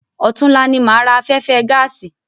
Ọ̀túnla ni máa ra afẹ́fẹ́ gáàsì.